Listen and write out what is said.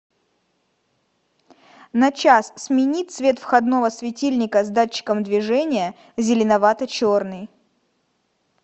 на час смени цвет входного светильника с датчиком движения зеленовато черный